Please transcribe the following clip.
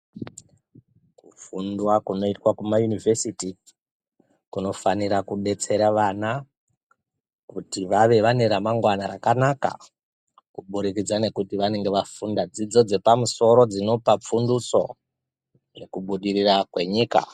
Kufundwa kuno itwa kuma yunivhesiti kuno fanira kudetsera vana kuti vave vane ra mangwana raka naka ku budikidza nekuti vanenge vafunda dzidzo dze pamusoro dzinopa funduso zveku budirira kwe nyika.